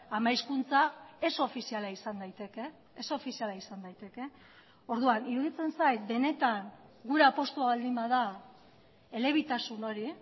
ama hizkuntza ez ofiziala izan daiteke ez ofiziala izan daiteke orduan iruditzen zait benetan gure apustua baldin bada elebitasun hori